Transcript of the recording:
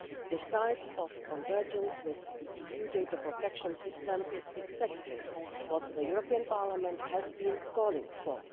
This type of convergence with the EU data protection system is exactly what the European Parliament has been calling for.